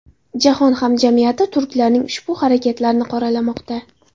Jahon hamjamiyati turklarning ushbu harakatlarini qoralamoqda.